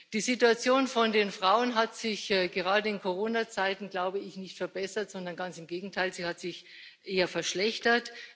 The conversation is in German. Die Situation von Frauen hat sich gerade in Corona Zeiten glaube ich, nicht verbessert, sondern ganz im Gegenteil, sie hat sich eher verschlechtert.